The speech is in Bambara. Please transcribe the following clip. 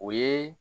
O ye